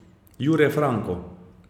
Jure Franko.